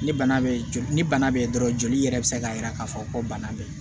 Ni bana bɛ ni bana bɛ dɔrɔn joli yɛrɛ bɛ se k'a jira k'a fɔ ko bana bɛ yen